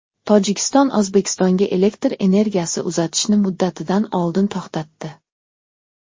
Tojikiston O‘zbekistonga elektr energiyasi uzatishni muddatidan oldin to‘xtatdi.